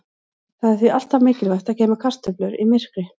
Það er því alltaf mikilvægt að geyma kartöflur í myrkri.